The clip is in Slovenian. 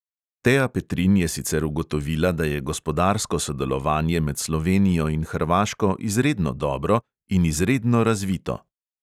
Tea petrin je sicer ugotovila, da je gospodarsko sodelovanje med slovenijo in hrvaško "izredno dobro in izredno razvito".